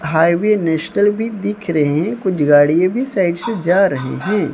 Highway national भी दिख रहे हैं कुछ गाड़ियां भी साइड से जा रहे हैं।